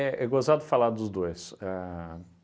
é gozado falar dos dois. A